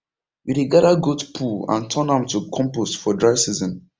we dey gather goat poo and turn am to compost for dry season